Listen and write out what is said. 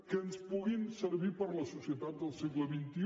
que ens puguin servir per a la societat del segle xxi